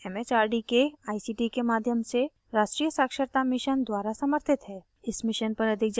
यह भारत सरकार के it it आर डी के आई सी टी के माध्यम से राष्ट्रीय साक्षरता mission द्वारा समर्थित है